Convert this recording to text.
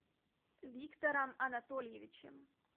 виктором анатольевичем